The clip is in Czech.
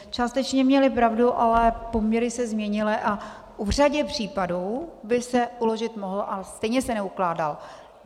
Částečně měly pravdu, ale poměry se změnily a v řadě případů by se uložit mohl, a stejně se neukládal.